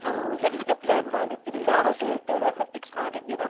ಎಲ್ಲಿಗೆ plan ಮಾಡಿದ್ದೀರಿ ಯಾವ date ಎಲ್ಲ fix ಮಾಡಿದ್ದೀರಾ?